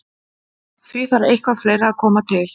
Því þarf eitthvað fleira að koma til.